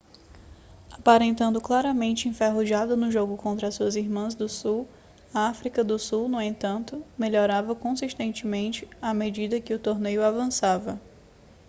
aparentando claramente enferrujada no jogo contra as suas irmãs do sul a áfrica do sul no entanto melhorava consistentemente à medida que o torneio avançada